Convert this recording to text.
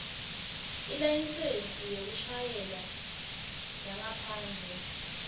ilayisensi yekushayela yangaphandle